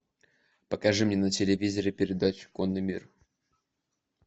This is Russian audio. покажи мне на телевизоре передачу конный мир